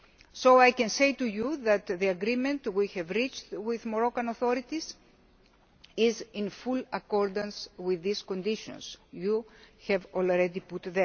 So I can say to you that the agreement we have reached with the Moroccan authorities is in full accordance with these conditions you have already set.